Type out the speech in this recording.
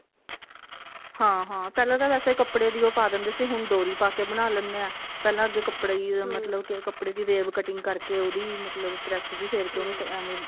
ਹਾਂ ਹਾਂ ਪਹਿਲਾਂ ਤਾਂ ਵੈਸੇ ਕੱਪੜੇ ਦੀ ਓ ਪਾ ਦਿੰਦੇ ਸੀ ਹੁਣ ਡੋਰੀ ਪਾ ਕੇ ਬਣਾ ਲੈਣੇ ਹਾਂ ਪਹਿਲਾ ਅੱਗੇ ਕੱਪੜਾ ਹੀ ਮਤਲਬ ਕੇ ਕੱਪੜਾ ਦੀ rave cutting ਕਰਕੇ ਉਹਦੀ ਮਤਲਬ ਪ੍ਰੇਸ hm ਜੀ ਫੇਰ ਕੇ ਉਹਨੂੰ ਐਵੇਂ